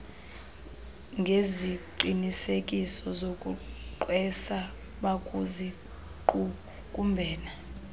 ngeziqinisekiso zokugqwesa bakusiqukumbela